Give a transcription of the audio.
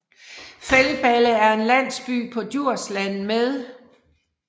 Feldballe er en landsby på Djursland med